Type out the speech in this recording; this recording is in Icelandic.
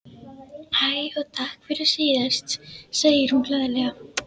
Hæ, og takk fyrir síðast, segir hún glaðlega.